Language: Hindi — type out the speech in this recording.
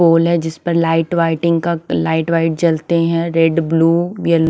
पूल है जिस पर लाइट वाइटिंग का लाइट वाइट जलती है। Red blue yellow --